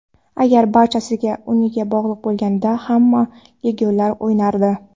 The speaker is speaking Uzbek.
Agar barchasi unga bog‘liq bo‘lganida, hamma legionerlar o‘ynardi.